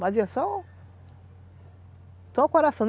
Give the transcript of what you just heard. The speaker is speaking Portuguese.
Mas é só o coração.